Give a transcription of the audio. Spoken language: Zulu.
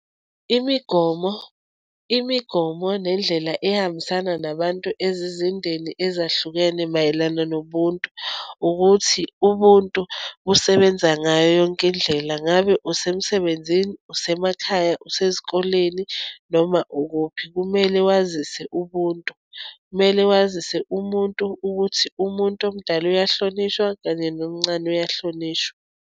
Imigomo, imigomo nendlela ehambisana nabantu ezizindeni ezahlukene mayelana nobuntu, ukuthi ubuntu busebenza ngayo yonke indlela. Ngabe umsebenzini, usemakhaya, usezikoleni, noma ukuphi, kumele wazise ubuntu. Kumele wazise umuntu, ukuthi umuntu omdala uyahlonishwa, kanye nomncane uyahlonishwa.